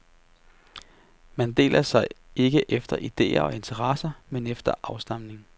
Man deler sig ikke efter idéer og interesser, men efter afstamning.